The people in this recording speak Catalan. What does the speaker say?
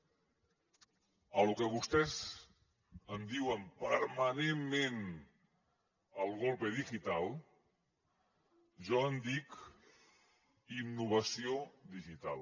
de lo que vostès en diuen permanentment el golpe digital jo en dic innovació digital